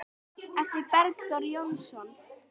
eftir Bergþór Jónsson